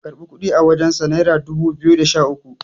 ka karɓi kudi a wajensa naira dubu biyu da Sha uku